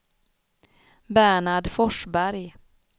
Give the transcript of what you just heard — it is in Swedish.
Bernhard Forsberg